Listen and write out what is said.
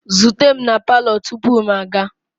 Zute m na palọ tupu m aga!